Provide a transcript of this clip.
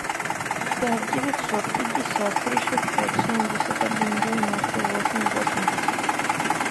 пять девятьсот пятьдесят три шестьсот семьдесят один девяносто восемь восемьдесят